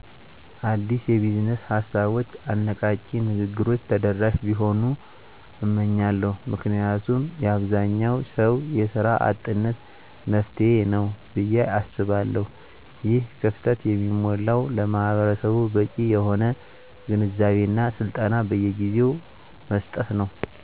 አዳዲስ የቢዝነስ ሀሳቦች አነቃቂ ንግግሮች ተደረሽ ቢሆኑ እመኛለሁ ምክንያቱም የአብዛኛው ሰው የስራ አጥነት መፍትሄ ነው ብየ አስባለሁ። ይህን ክፍተት የሚሞላው ለማህበረሰቡ በቂ የሆነ ግንዛቤ እና ስልጠና በየጊዜው መስጠት።